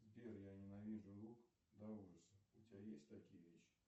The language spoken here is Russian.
сбер я ненавижу лук до ужаса у тебя есть такие вещи